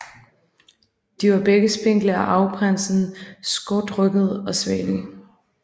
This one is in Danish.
De var begge spinkle og arveprinsen skrutrygget og svagelig